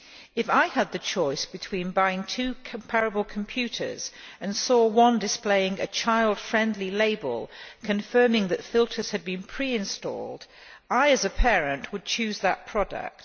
If I had the choice between buying two comparable computers and saw one displaying a child friendly label, confirming that filters had been pre installed, I as a parent would choose that product.